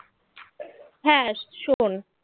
হ্যাঁ শোন